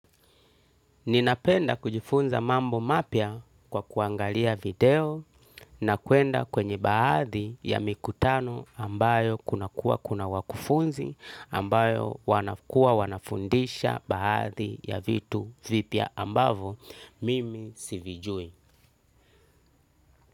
Ninapenda kujifunza mambo mapya kwa kuangalia video na kwenda kwenye baadhi ya mikutano ambayo kuna kuwa kuna wakufunzi ambayo wanakua wanafundisha baadhi ya vitu vipya ambavyo mimi sivijui.